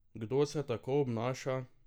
Kdo se tako obnaša?